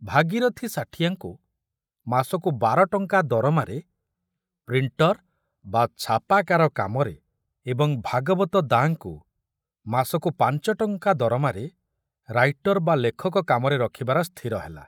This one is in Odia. ଭାଗୀରଥ୍ ସାଠିଆଙ୍କୁ ମାସକୁ ବାରଟଙ୍କା ଦରମାରେ ପ୍ରିଣ୍ଟର ବା ଛାପାକାର କାମରେ ଏବଂ ଭାଗବତ ଦାଁଙ୍କୁ ମାସକୁ ପାଞ୍ଚଟଙ୍କା ଦରମାରେ ରାଇଟର ବା ଲେଖକ କାମରେ ରଖୁବାର ସ୍ଥିର ହେଲା।